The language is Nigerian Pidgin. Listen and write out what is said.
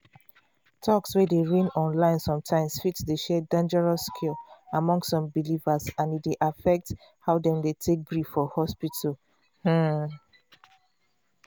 talks wey dey reign online sometimes dey share dangerous cure among some believers and e dey affect how dem take gree for treatment. um